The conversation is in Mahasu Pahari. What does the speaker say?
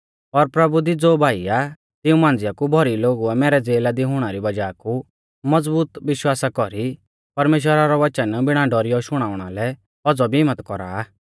और प्रभु दी ज़ो भाई आ तिऊं मांझ़िऊ कु भौरी लोगुऐ मैरै ज़ेला दी हुणा री वज़ाह कु मज़बूत विश्वास कौरी परमेश्‍वरा रौ वचन बिणा डौरियौ शुणाउंणा लै औज़ौ भी हिम्मत कौरा आ